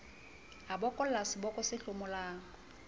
a bokolla seboko se hlomolang